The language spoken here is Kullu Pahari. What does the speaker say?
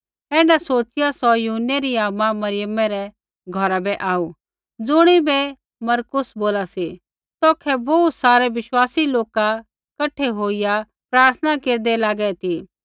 ऐण्ढा सोच़िआ सौ यूहन्नै री आमा मरियमै रै घौरा बै आऊ ज़ुणिबै मरकुस बोला सी तौखै बोहू सारै बिश्वासी लोका कठै होईया प्रार्थना केरदै लागै ती